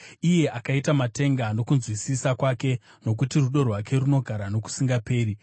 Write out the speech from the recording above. iye akaita matenga nokunzwisisa kwake, Nokuti rudo rwake runogara nokusingaperi.